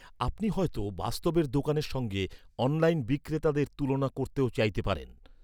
আপনি হয়তো বাস্তবের দোকানের সঙ্গে অনলাইন বিক্রেতাদের তুলনা করতেও চাইতে পারেন।